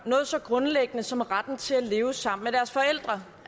noget så grundlæggende som retten til at leve sammen med deres forældre